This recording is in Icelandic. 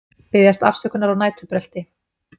Biðjast afsökunar á næturbrölti